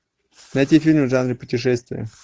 найти фильм в жанре путешествия